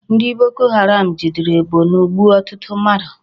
Ndi Boko Haram jere Borno gbuo otutu mmadu